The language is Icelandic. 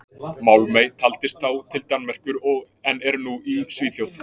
Málmey taldist þá til Danmerkur en er nú í Svíþjóð.